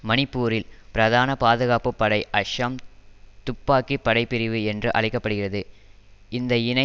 மணிப்பூரில் பிரதான பாதுகாப்பு படை அஸ்ஸாம் துப்பாக்கிப்படைப்பிரிவு என்று அழைக்க படுகிறது இந்த இணை